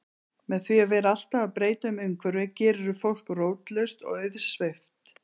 Með því að vera alltaf að breyta umhverfinu gerirðu fólk rótlaust og auðsveipt.